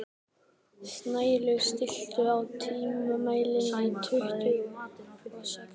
Snælaug, stilltu tímamælinn á tuttugu og sex mínútur.